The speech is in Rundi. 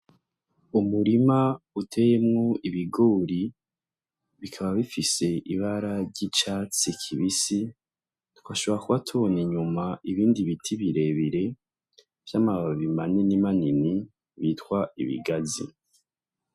Umurima uteyemwo ibigori bikaba bifise ibara ry’icatsi kibisi ,tugashobora kuba tubona inyuma ibindi biti birebire vy’amababi manini manini bitwa ibigazi.